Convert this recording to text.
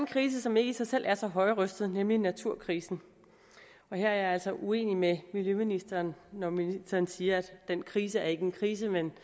krise som ikke i sig selv er så højrøstet nemlig naturkrisen her er jeg altså uenig med miljøministeren når ministeren siger at den krise ikke er en krise men